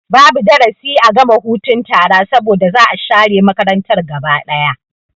Babu darasi a gama hutun tara saboda za'a share makarantar gaba ɗaya